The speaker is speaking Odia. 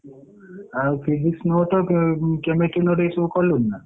ଆଉ Physics note ।